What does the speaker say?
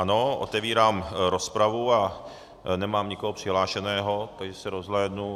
Ano, otevírám rozpravu a nemám nikoho přihlášeného, takže se rozhlédnu.